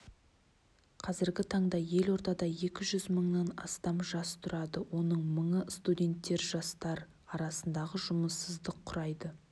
қазіргі таңда елордада екі жүз мыңнан аса жас тұрады оның мыңы студенттер жастар арасындағы жұмыссыздық құрайды